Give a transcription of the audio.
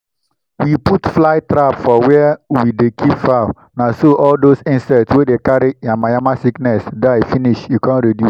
we put fly trap for where we dey keep fowl na so all those insect wey dey carry yamayama sickness die finish e come reduce